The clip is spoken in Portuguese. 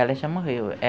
Ela já morreu.